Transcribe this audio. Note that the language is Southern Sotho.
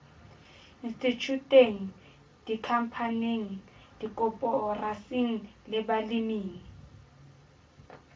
institjhuteng dikhampaning dikoporasing le baleming